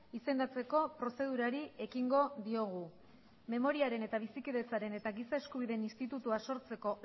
izendatzeko prozedurari ekingo diogu memoriaren eta bizikidetzaren eta giza eskubideen institutua sortzeko